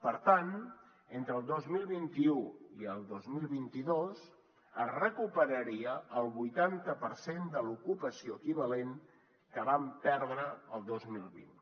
per tant entre el dos mil vint u i el dos mil vint dos es recuperaria el vuitanta per cent de l’ocupació equivalent que vam perdre el dos mil vint